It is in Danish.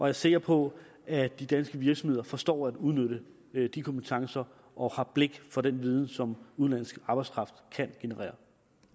er sikker på at de danske virksomheder forstår at udnytte de kompetencer og har blik for den viden som udenlandsk arbejdskraft kan generere